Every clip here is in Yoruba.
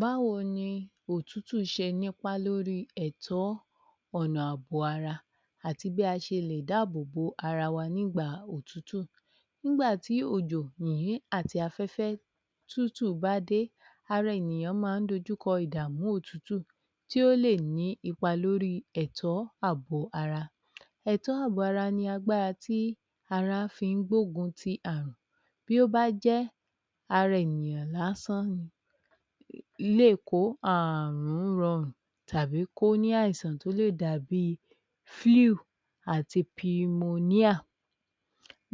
Báwo ni òtútù ṣe ní ipa lórí ẹ̀tọ́ ọ̀nà ààbò ara àti bí a ṣe lè dáàbòbo ara wa nígba òtútù nígbà tí ojò, yìnyín, àti àfẹ́fẹ́ tútù bá dé ara ènìyàn máa ń dojúkọ ìdàmú òtútù tí ó lè ní ipa lórí ẹ̀tọ́ ààbò ara ẹ̀tọ́ ààbò ara ni agbára tí ara fi ń gbógun ti àrùn bí ó bá jẹ́ ara ènìyàn lásán ni um lè ko àrùn rọrùn tàbí kó ní àìsàn tó lè dàbí àti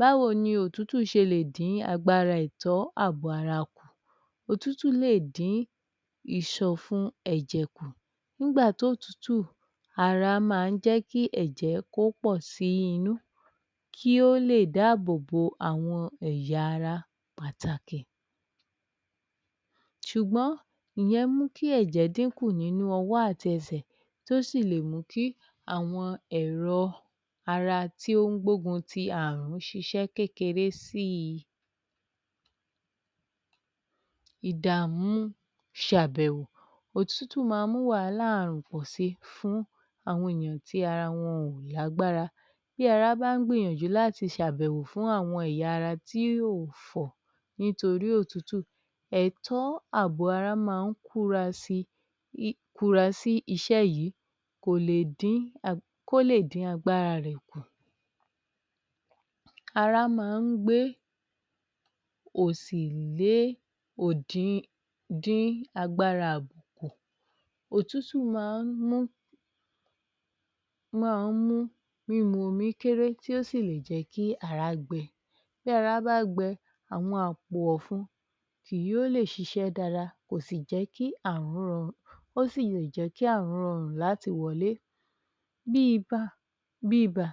Báwo ni òtútù ṣe lè dín agbára ẹ̀tọ́ ààbò ara kù Òtútù lè dín ìsọ̀fun ẹ̀jẹ̀ kù nígbà tí òtútù ara máa ń jẹ́ kí ẹ̀jẹ̀ kó pọ̀ sí inú kí ó lè dáàbòbò alwọn ẹ̀yà ara pàtàkì ṣùgbọ́n ìyẹn mú kí ẹ̀jẹ̀ dín kù nínú ọwọ́ àti ẹsẹ̀ tí ó sì lè mú kí àwọn ẹ̀rọ ara tí ó ń gbógun ti àrùn ṣiṣẹ́ kékeré sí i ìdàmú ṣe àbẹ̀wò òtútù máa ń mú wàhálà pọ̀ si fún àwọn ènìyàn tí ara wọn ò lágbára bí ara bá ń gbìyànjú láti ṣe àbẹ̀wò fún àwọn ẹ̀yà ara tí ò fọ̀ nítorí òtútù, ètọ́ ààbò ara máa ń kúra si iṣẹ́ yìí um kó lè dí agbára rẹ̀ kù Ará máa ń gbé um ó sì lè um dín agbára àbùkù Òtútù máa ń mú um mímu omí kére ó sì lè jẹ́ kí ará gbẹ bí ara bá gbẹ àwọn àpò ọ̀fun kì yóò lè ṣiṣẹ́ dada kò sì um ó sì lè jẹ́ kí àrùn rọrùn láti wọlé um bí iba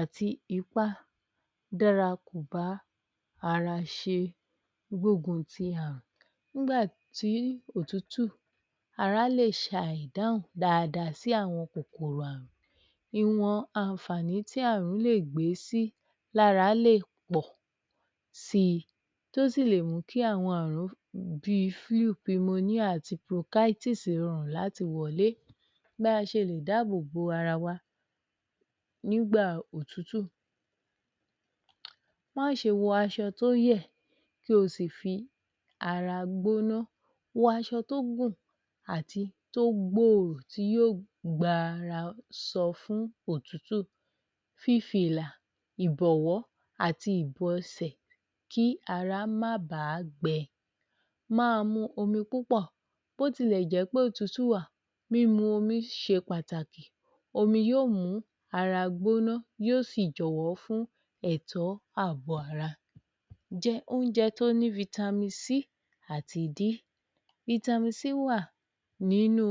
àti ipá dára kò bá ara ṣe gbóguun ti àrùn nígbà tí òtútù ará lè ṣàì dáhùn dáadáa sí àwọn kòkòrò àrùn ìwọn àǹfàní tí àrùn lè gbé sí lara lè pọ̀ si tí ó sì lè mú kí àwọn àrùn bí àti, rọrùn láti wọlé bí a ṣe lè dáàbòbo ara wa nígbà òtútù máṣe wọ aṣọ tó yẹ̀ kí o sì fi ara gbóná, wọ aṣọ tó gùn àti tó gbòòrò tí yóò gba ara sọ fún òtútù fífí ilà àti ìbọ̀wọ́ àti ìbọsẹ̀ kí ara má ba gbẹ Máa mu omi púpọ̀ bí ó tilẹ̀ jẹ́ pé òtútù wà omi ṣe pàtàkì omi yóò mú ara gbóná yóò sì jọ̀wọ́ fún ẹ̀tọ́ àbò ara jẹ oúnjẹ tó ní àti wà nínú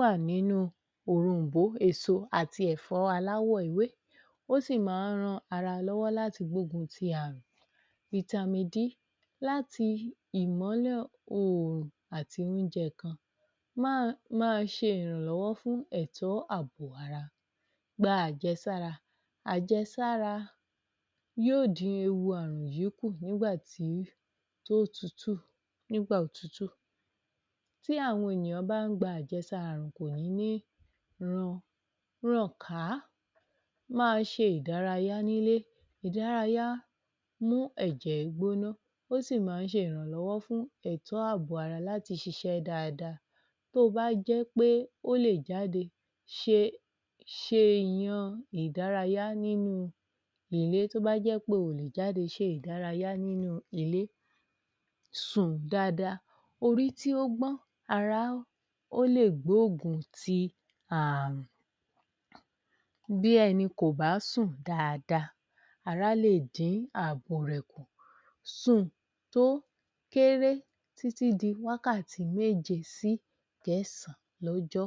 wà nínú òrom̀bó, èso, ẹ̀fọ́ aláwọ̀ ewé ó sì máa ń ran ara lọ́wọ́ láti gbógun ti àrùn, ìmọ́lẹ̀ oòrùn àti oúnjẹ kan máa ṣe ìrànlọ́wọ́ fún ẹ̀tọ́ àbò gba àjẹsára, ajẹ́sára yóò dín ewu àrùn yìí kù[um] nígbà òtútù bí àwọn ènìyàn bá ń gba àjẹsára àrùn kò ní um ràn ká. Máa ṣe ìdárayá nílé, ìdárayá ń mú ẹ̀jẹ̀ gbóná ó sì máa ń ṣe ìrànlọ́wọ́ fún ẹ̀tọ́ àbò ara láti ṣiṣẹ́ dáadáa um tó bá jẹ́ pé ò lè jáde ṣe ìdárayá nínú ilé sùn dada orí tí ó gbón ara ó lè gbóògùn ti àrùn bí ẹni kò bá sùn dáadáa bá lè dín ààbò rẹ̀ kù Sùn tó kéré títí di wákàtí méje sí ìkẹsàn lọ́jọ́